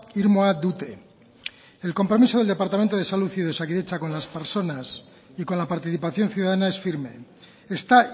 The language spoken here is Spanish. irmoa dute el compromiso del departamento de salud y de osakidetza con las personas y con la participación ciudadana es firme está